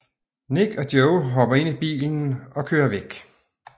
Nick og Joe hopper ind i bilen og kører væk